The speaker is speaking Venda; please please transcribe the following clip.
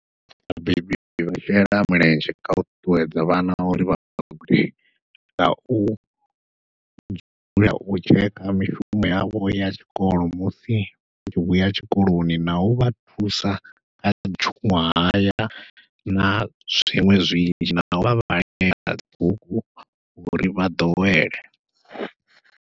Vhabebi vha shela mulenzhe kha u ṱuṱuwedza vhana uri vha vhagude ngau dzula u tsheka mishumo yavho ya tshikolo, musi vha tshi vhuya tshikoloni nau vha thusa kha tshuṅwahaya na zwiṅwe zwinzhi nau vha vhalela dzi bugu uri vha ḓowele.